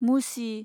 मुसि